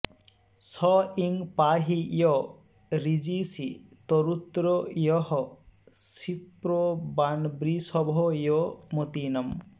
स ईं पाहि य ऋजीषी तरुत्रो यः शिप्रवान्वृषभो यो मतीनाम्